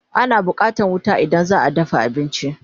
Ana buƙatan wuta idan zaa dafa abinci